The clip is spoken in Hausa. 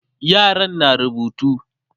yaran na rubutu